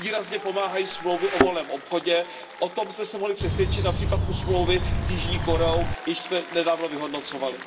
Výrazně pomáhají smlouvy o volném obchodu, o tom jsme se mohli přesvědčit například u smlouvy s Jižní Koreou, kterou jsme nedávno vyhodnocovali.